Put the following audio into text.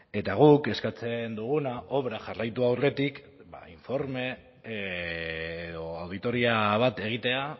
eta guk eskatzen duguna obra jarraitu aurretik ba informe edo auditoria bat egitea